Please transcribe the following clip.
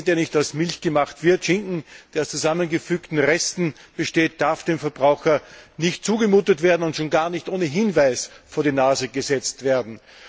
Käse, der nicht aus Milch gemacht wird, und Schinken, der aus zusammengefügten Resten besteht, dürfen dem Verbraucher nicht zugemutet und schon gar nicht ohne Hinweis vor die Nase gesetzt werden.